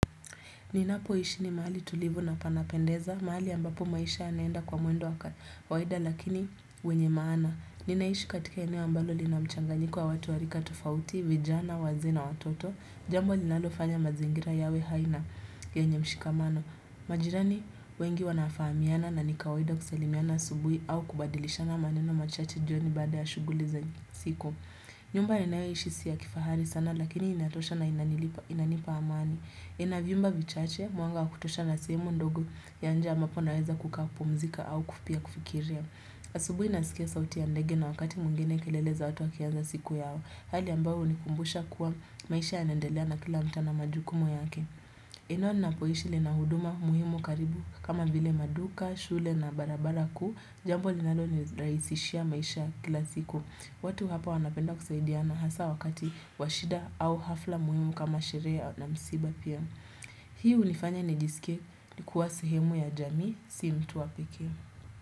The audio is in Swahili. Ninapo ishi ni mahali tulivu na panapendeza, mahali ambapo maisha yanenda kwa mwendo wa kawaida lakini wenye maana. Ninaishi katika eneo ambalo lina mchanganyiko wa watu warika tofauti, vijana, wazee na, wototo, jambo linalofanya mazingira yawe haina yenye mshikamano. Majirani wengi wanafahamiana na ni kawaida kusalimiana asubuhi au kubadilishana maneno machache joni baada ya shughuli za siku. Nyumba ninayoishi si ya kifahari sana lakini inatoshana inanipa amani. Nina viumba vichache, mwanga wa kutosha na sehemu ndogo ya nje ambaponaweza kukapumzika au kufikiria asubuhi nasikia sauti ya ndegi na wakati mwingene kelele za watu wakianza siku yao. Hali ambao unikumbusha kuwa maisha yanendelea na kila mtu ana majukumu yake. Ila ninapoishi lina huduma muhimu karibu kama vile maduka, shule na barabara ku, jambo linalo ni rahisishia maisha kila siku. Watu hapa wanapenda kusaidiana hasa wakati washida au hafla muhimu kama sherehena msiba. Hii ulifanya nijisike likuwa sehemu ya jamii si mtu wa pekee.